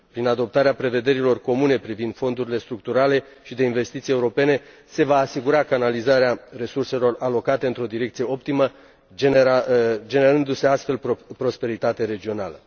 Prin adoptarea prevederilor comune privind fondurile structurale și de investiții europene se va asigura canalizarea resurselor alocate într o direcție optimă, generându se astfel prosperitate regională.